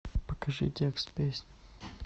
покажи текст песни